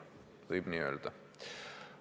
Võib tõesti nii öelda.